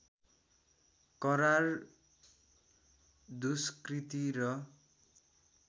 करार दुष्कृति र